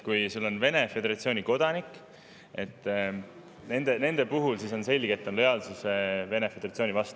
Kui on Vene Föderatsiooni kodanikud, siis nende puhul on selge, et see on lojaalsus Vene Föderatsioonile.